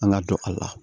An ka dɔn a la